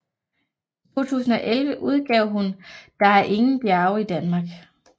I 2011 udgav hun Der er ingen bjerge i Danmark